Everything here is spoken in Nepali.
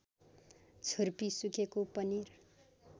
छुर्पी सुकेको पनिर